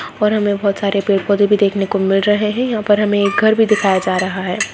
और हमें बहुत सारे पेड़ पौधे भी देखने को मिल रहे हैं | यहाँ पर हमें एक घर भी दिखाया जा रहा है।